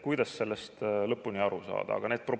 Kuidas sellest lõpuni aru saada?